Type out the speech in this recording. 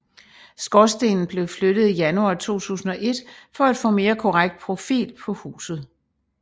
Skorstenen blev flyttet i januar 2001 for at få en mere korrekt profil på huset